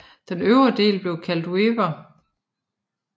Den øvre del bliver kaldt Wipper